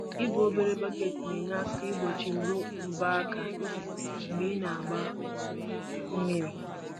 Ibu obere bọket na-enye aka igbochi mgbu ubu aka mgbe ị na-agba mmiri